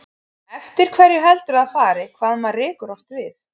Eftir hverju heldurðu að það fari, hvað maður rekur oft við?